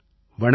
வணக்கம்